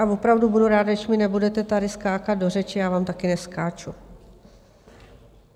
Ale opravdu budu ráda, když mi nebudete tady skákat do řeči, já vám také neskáču.